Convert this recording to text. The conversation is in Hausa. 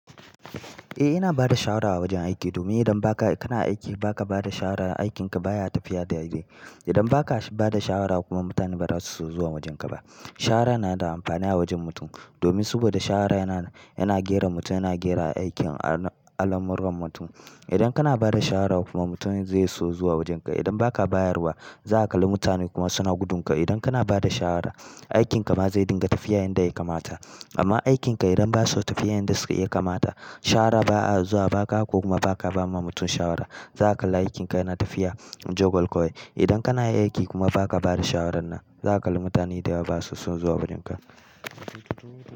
Eh ina bada shawara a wajen aiki, domin idan baka, kana aiki baka bada shawara, aikinka baya tafiya dai-dai. Idan baka bada shawara kuma mutane ba za su so zuwa wajen ka ba. Shawara na da amfani a wajen mutum, domin saboda shawara yana, yana gera mutum, yana gera aikin al'amuran mutum. Idan kana bada shawara kuma mutum zai so zuwa wajen ka, idan baka bayarwa, za ka kalli mutane kuma suna gudun ka, idan kana bada shawara, aikinka ma zai dinga tafiya yanda ya kamata. Amma aikinka idan ba su tafiya yanda suke- ya kamata, shawara ba'a zuwa ba ka ko kuma baka ba ma mutum shawara, za ka kalla aikinka yana tafiya jagwal kawai. Idan kana yin aiki kuma ba ka bada shawarar nan, za ka kalli mutane dayawa ba su son zuwa wurinka.